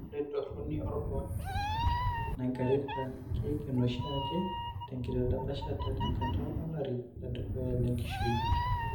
Ore entoroni ebony kiti nairagita keiken oshiake tenkidapashata tenkata olari ledukuya lenkishui.